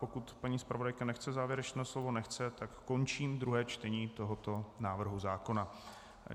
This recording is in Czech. Pokud paní zpravodajka nechce závěrečné slovo - nechce, tak končím druhé čtení tohoto návrhu zákona.